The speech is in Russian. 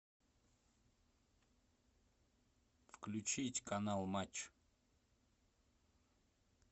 включить канал матч